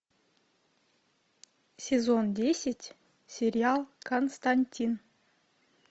сезон десять сериал константин